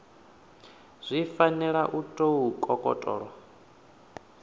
zwi fanela u tou kokotolo